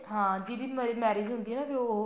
ਹਾਂ ਵੀ ਜਿਹਦੀ marriage ਹੁੰਦੀ ਆ ਵੀ ਉਹ